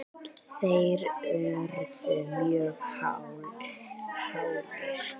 þeir urðu mjög hálir.